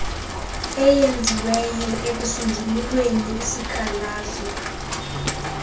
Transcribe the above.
eyenziweyo ekusonjululweni kwesikhalazo